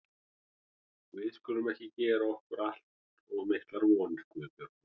Við skulum ekki gera okkur allt of miklar vonir, Guðbjörg mín.